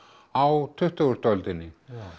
á tuttugustu öldinni